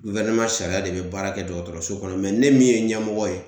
sariya de be baara kɛ dɔgɔtɔrɔso kɔnɔ ne min ye ɲɛmɔgɔ ye